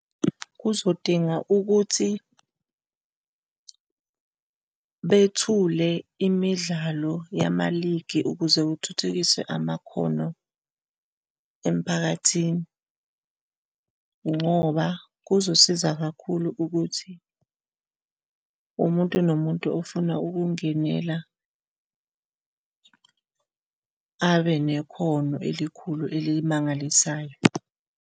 Kuzodinga ukuthi bethule imidlalo yama-league ukuze kuthuthukiswe amakhono emphakathini, ngoba kuzosiza kakhulu ukuthi umuntu nomuntu ofuna ukungenela abe nekhono elikhulu elimangalisayo.